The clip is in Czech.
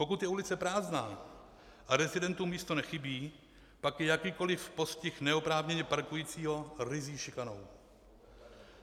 Pokud je ulice prázdná a rezidentům místo nechybí, pak je jakýkoliv postih neoprávněně parkujícího ryzí šikanou.